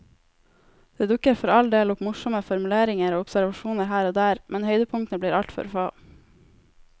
Det dukker for all del opp morsomme formuleringer og observasjoner her og der, men høydepunktene blir altfor få.